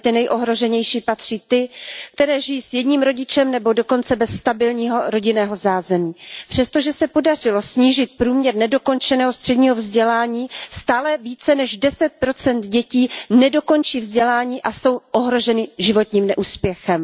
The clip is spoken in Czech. Mezi ty nejohroženější patří ty, které žijí s jedním rodičem nebo dokonce bez stabilního rodinného zázemí. Přestože se podařilo snížit průměr nedokončeného středního vzdělání, stále více než 10 dětí nedokončí vzdělání a jsou ohroženy životním neúspěchem.